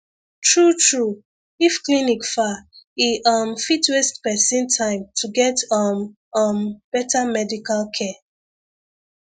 true true if clinic far e um fit waste person time to get um um better medical care